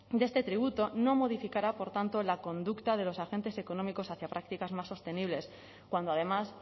de este tributo no modificará por tanto la conducta de los agentes económicos hacia prácticas más sostenibles cuando además